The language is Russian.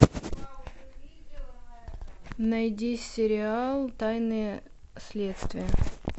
найди сериал тайны следствия